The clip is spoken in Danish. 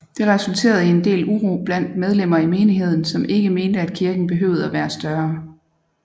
Det resulterede i en del uro blandt medlemmer i menigheden som ikke mente at kirken behøvede at være større